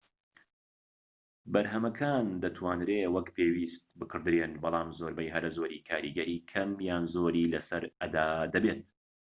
بەرهەمەکان دەتوانرێت وەک پێویست بکڕدرێن بەڵام زۆربەی هەرە زۆری کاریگەری کەم یان زۆری لەسەر ئەدا دەبێت